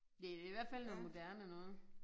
Det i hvert fald noget moderne noget